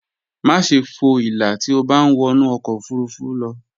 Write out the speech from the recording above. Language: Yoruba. Máṣe fo ìlà tí o bá ń wọnú ọkọ̀ ofurufú lọ